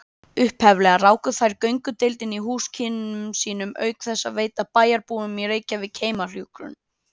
Upphaflega ráku þær göngudeild í húsakynnum sínum auk þess að veita bæjarbúum í Reykjavík heimahjúkrun.